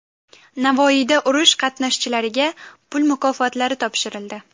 Navoiyda urush qatnashchilariga pul mukofotlari topshirildi.